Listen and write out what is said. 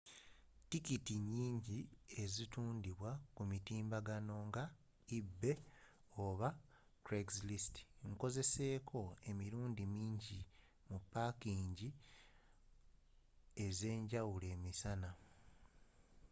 tikiti nnyingi ezitundidwa ku mitimbagano nga ebay oba craigslist nkozeseko emirundi mingi mu pakingi ez'enjawulo emisana